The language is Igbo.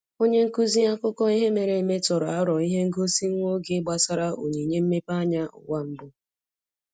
Onye nkuzi akụkọ ihe mere eme tụrụ aro ihe ngosi nwa oge gbasara onyinye mmepeanya ụwa mbụ.